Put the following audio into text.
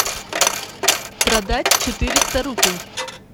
продать четыреста рупий